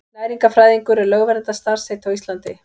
Næringarfræðingur er lögverndað starfsheiti á Íslandi.